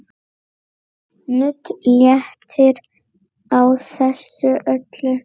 Nudd léttir á þessu öllu.